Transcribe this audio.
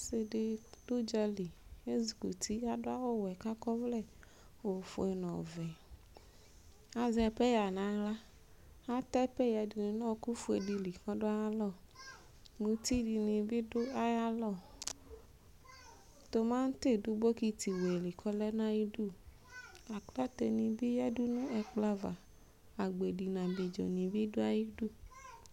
Ɔsɩ dɩ dʋ ʋdzalɩ ezɩ kʋtɩ adʋ awʋ wɛ kakɔ ɔvlɛ ofʋe nʋ ɔvɛ kazɛ peya nʋ aɣla atɛ peya yɛ dʋ nʋ ɔkʋ fʋe dɩ kɔdʋ aya lɔ mʋtɩ dɩnɩ bɩ dʋ aya lɔ tomatɩ dʋ bɔkɩtɩlɩ kɔlɛ nʋ ayɩdʋ aklate nɩ bɩ yadʋ nʋ ɛkplɔ ava agbedɩ nʋ ablɩdzo nɩɩ bɩ dʋ ayɩdʋ